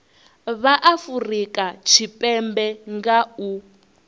vha afurika tshipembe nga u